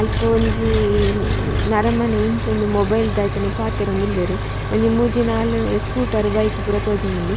ಅಲ್ಪ ಒಂಜಿ ನರಮನಿ ಉಂತೊಂದು ಮೊಬೈಲ್ ದೈಥನ ಪಾತೆರೊಂದುಲ್ಲೆರ್ ಅಂಚ ಮೂಜಿ ನಾಲ್ ಸ್ಕೂಟರ್ ಬೈಕ್ ಪೂರ ತೋಜೊಂದುಂಡು .